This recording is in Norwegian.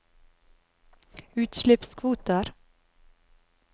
utslippskvoter